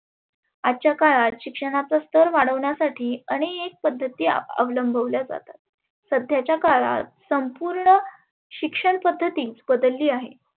आजच्या काळात शिक्षनाचा स्थर वढवण्यासाठी आनेक पद्धती आवलंबल्या जातात. सध्याच्या काळात संपुर्ण शिक्षण पद्धती बदलली आहे.